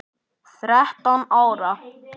Þrettán ára?